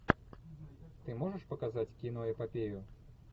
ты можешь показать киноэпопею